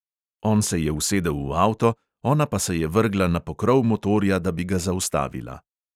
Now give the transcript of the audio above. On se je usedel v avto, ona pa se je vrgla na pokrov motorja, da bi ga zaustavila.